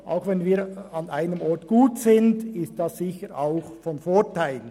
Wenn wir an einem Ort gut sind, ist dies sicher auch von Vorteil.